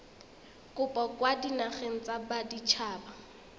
kopo kwa dinageng tsa baditshaba